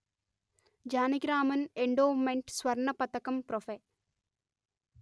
Janakiraman endowment స్వర్ణ పతకంప్రొఫె